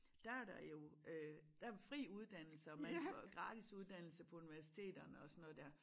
Der er der jo øh der er fri uddannelse og man får gratis uddannelse på universiteterne og sådan noget der